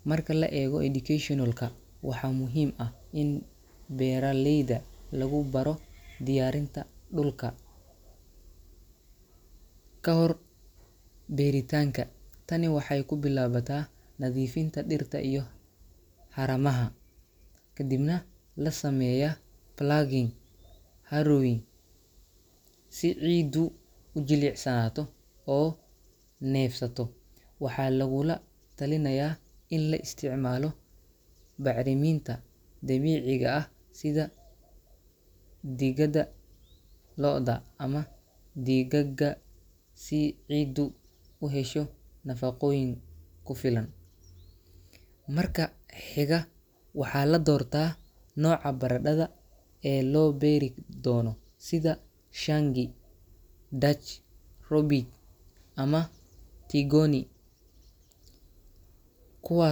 Marka la eego educational-ka, waxaa muhiim ah in beeraleyda lagu baro diyaarinta dhulka ka hor beeritaanka. Tani waxay ku bilaabataa nadiifinta dhirta iyo haramaha, kadibna la sameeyaa ploughing iyo harrowing si ciiddu u jilicsanaato oo neefsato. Waxaa lagula talinayaa in la isticmaalo bacriminta dabiiciga ah sida digada lo’da ama digaagga si ciiddu u hesho nafaqooyin ku filan. Marka xiga, waxaa la doortaa nooca baradhada ee loo beeri doono — sida Shangi, Dutch Robijn ama Tigoni — kuwaas.